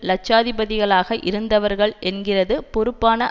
இலட்சாதிபதிகளாக இருந்தவர்கள் என்கிறது பொறுப்பான